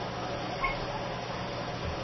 Elskar þú hvað?